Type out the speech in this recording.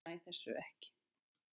Ég næ þessu ekki.